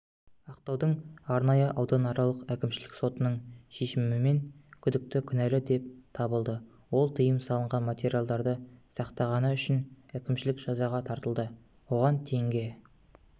ақтаудың арнайы ауданаралық әкімшілік сотының шешімімен күдікті кінәлі деп табылды ол тыйым салынған материалдарды сақтағаны үшін әкімшілік жазаға тартылды оған теңге